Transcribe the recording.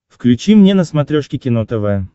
включи мне на смотрешке кино тв